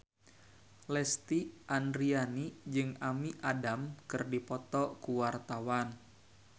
Lesti Andryani jeung Amy Adams keur dipoto ku wartawan